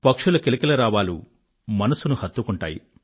పక్షుల కిలకిలారావాలు మనసును హత్తుకుంటాయి